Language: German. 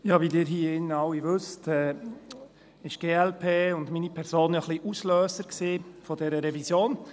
Wie Sie hier drin alle wissen, war die glp und meine Person ja ein wenig Auslöser dieser Revision.